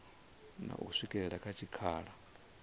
na u swikela kha tshikhala